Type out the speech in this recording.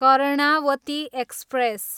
Karnavati express